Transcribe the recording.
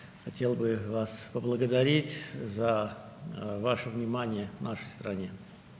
Ölkəmizə göstərdiyiniz diqqətə görə sizə təşəkkür etmək istərdim.